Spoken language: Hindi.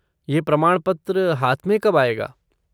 ये प्रमाणपत्र हाथ में कब आएगा?